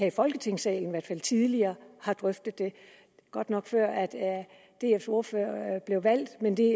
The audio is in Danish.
i folketingssalen tidligere har drøftet det godt nok før dfs ordfører blev valgt men det